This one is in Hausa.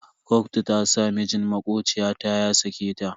Kotu ta sa mijin makociya ta ya sake ta.